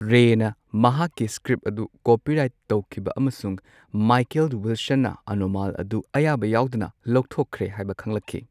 ꯔꯦꯅ ꯃꯍꯥꯛꯀꯤ ꯁꯀ꯭ꯔꯤꯄ ꯑꯗꯨ ꯀꯣꯄꯤꯔꯥꯏꯠ ꯇꯧꯈꯤꯕ ꯑꯃꯁꯨꯡ ꯃꯥꯏꯀꯦꯜ ꯋꯤꯜꯁꯟꯅ ꯑꯅꯣꯝꯃꯜ ꯑꯗꯨ ꯑꯌꯥꯕ ꯌꯥꯎꯗꯅ ꯂꯧꯊꯣꯛꯈ꯭ꯔꯦ ꯍꯥꯏꯕ ꯈꯪꯂꯛꯈꯤ꯫